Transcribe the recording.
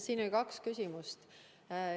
Siin oli kaks küsimust.